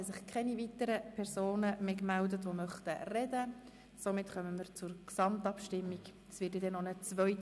Es gibt keine weiteren Wortmeldungen, wir gelangen zur Schlussabstimmung.